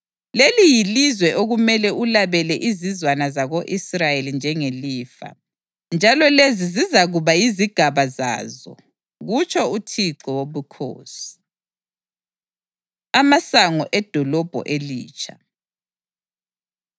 Leli yilizwe okumele ulabele izizwana zako-Israyeli njengelifa, njalo lezi zizakuba yizigaba zazo,” kutsho uThixo Wobukhosi. Amasango Edolobho Elitsha